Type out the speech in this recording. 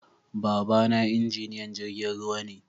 Baba na injiniyan jirgin ruwa ne